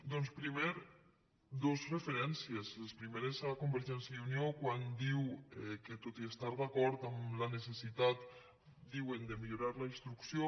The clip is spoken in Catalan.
doncs primer dos referències les primeres a convergència i unió quan diu que tot i estar d’acord amb la necessitat diuen de millorar la instrucció